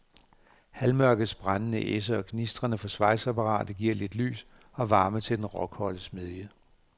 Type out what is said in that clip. Halvmørkets brændende esse og gnisterne fra svejseapparatet giver lidt lys og varme til den råkolde smedje.